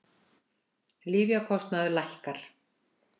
Lyfjakostnaður lækkar